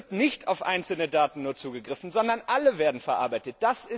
Es wird nicht nur auf einzelne Daten zugegriffen, sondern alle werden verarbeitet.